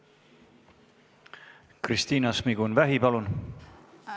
Kristina Šmigun-Vähi, palun!